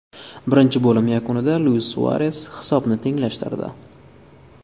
Birinchi bo‘lim yakunida Luis Suares hisobni tenglashtirdi.